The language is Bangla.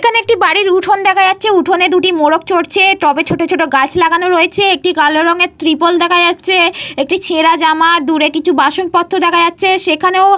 এখানে একটি বাড়ির উঠোন দেখা যাচ্ছে। উঠোনে দুটো মোরগ চড়ছে। টবে ছোট ছোট গাছ লাগানো রয়েছে। একটি কালো রঙের ত্রিপল দেখা যাচ্ছে। একটি ছেঁড়া জামা দূরে কিছু বাসনপত্র দেখা যাচ্ছে। সেখানেও --